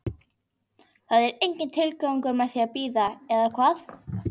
Það er enginn tilgangur með því að bíða, eða hvað?